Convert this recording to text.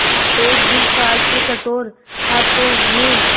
एक दिन काल के कठोर हाथों ने